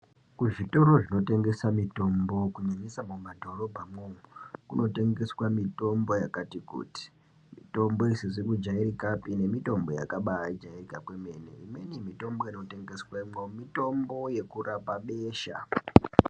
Kuzvitoro zvinotengesa mitombo kunyanyisa mumadhorobha mwoumwo kunotengeswa mitombo yakati kuti mitombo isizi kujairikapi nemitombo yakabajairika kwemene imweni mitombo inotengeswemwo mitombo yekurapa besha.